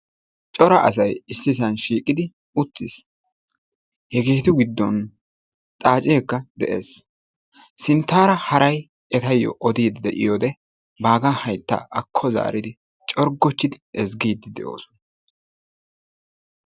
cora asay issisaan shiiqqidi uttiis. hegeettu giddon xaacceekka de"ees. sinttaara haray ettawu odiidi de'iyoode bagaa hayttaa akko zaaridi corggochchidi eziggidi de'oosona.